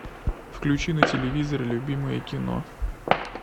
включи на телевизоре любимое кино